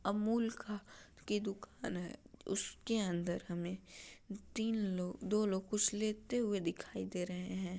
अमूल का की दुकान है उसके अंदर हमे तीन लोग दो लोग कुछ लेते हुए दिखाई दे रहे हैं ।